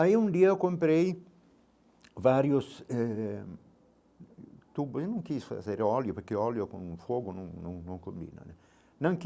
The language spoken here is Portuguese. Aí, um dia, eu comprei vários eh... Eu não quis fazer óleo, porque o óleo com fogo não não não combina né não quis.